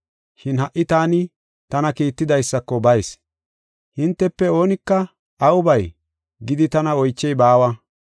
Shin ha77i taani tana kiittidaysako bayis; hintefe oonika, ‘Awu bay?’ gidi tana oychey baawa.